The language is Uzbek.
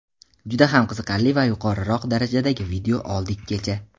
juda ham qiziqarli va yuqoriroq darajadagi video oldik kecha.